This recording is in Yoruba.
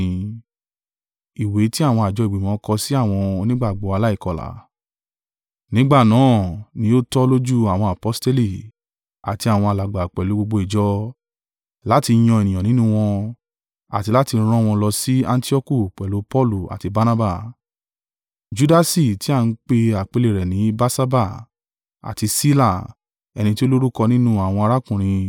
Nígbà nà án ni ó tọ́ lójú àwọn aposteli, àti àwọn alàgbà pẹ̀lú gbogbo ìjọ, láti yan ènìyàn nínú wọn, àti láti rán wọ́n lọ sí Antioku pẹ̀lú Paulu àti Barnaba: Judasi ti a ń pè àpèlé rẹ̀ ní Barsaba, àti Sila, ẹni tí ó lórúkọ nínú àwọn arákùnrin.